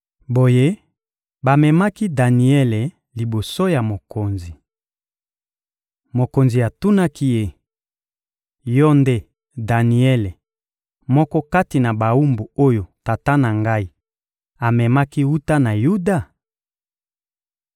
Boye, bamemaki Daniele liboso ya mokonzi. Mokonzi atunaki ye: — Yo nde Daniele, moko kati na bawumbu oyo tata na ngai amemaki wuta na Yuda?